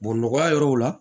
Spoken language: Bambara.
Bɔn nɔgɔya yɔrɔw la